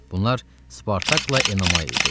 Bunlar Spartakla Enomay idi.